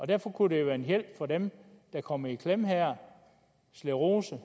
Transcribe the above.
derfor kunne det jo være en hjælp for dem der kommer i klemme her sclerose